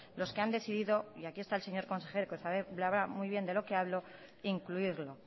los que han decidido y aquí el señor consejero que sabe muy bien de lo que hablo incluirlo